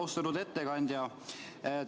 Austatud ettekandja!